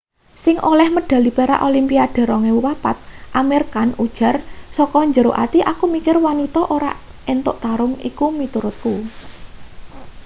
sing oleh medhali perak olimpiade 2004 amir khan ujar saka jero ati aku mikir wanita ora entuk tarung iku miturutku